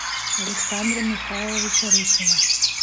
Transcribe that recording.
александра михайловича русина